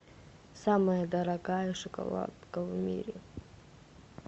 самая дорогая шоколадка в мире